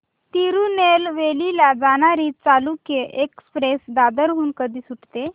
तिरूनेलवेली ला जाणारी चालुक्य एक्सप्रेस दादर हून कधी सुटते